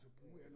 Øh